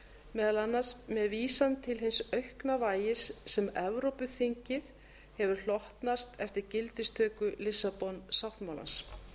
meðal annars með vísan til hins aukna vægis sem evrópuþinginu hefur hlotnast eftir gildistöku lissabon sáttmálans